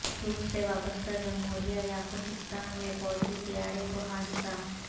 روس سے وابستہ جمہوریہ یعقوتستان میں فوجی طیارے کو حادثہ